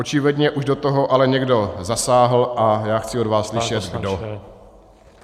Očividně už do toho ale někdo zasáhl a já chci od vás slyšet kdo.